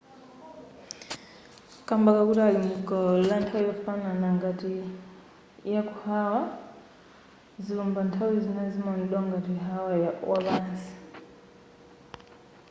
kamba kakuti ali mu gawo lanthawi yofanana ngati yaku hawaii zilumbazi nthawi zina zimaonedwa ngati hawaii wapansi